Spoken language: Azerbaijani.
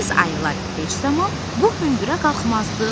Biz ayılar heç zaman bu hündürə qalxmazdıq.